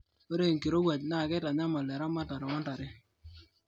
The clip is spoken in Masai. ore enkirowuaj naa keitanyamal eramatare oontare